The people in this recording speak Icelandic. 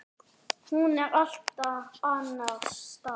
Hún er allt annars staðar.